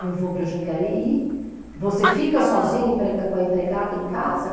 Eu vou para Jacareí, você fica sozinha empre, com a empregada em casa?